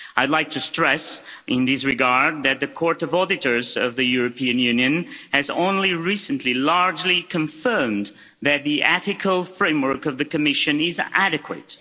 I'd like to stress, in this regard, that the Court of Auditors of the European Union has only recently largely confirmed that the ethical framework of the Commission is adequate.